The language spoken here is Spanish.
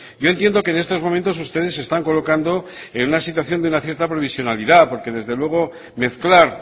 yo entiendo que en estos momentos ustedes se están colocando en una situación de una cierta provisionalidad porque desde luego mezclar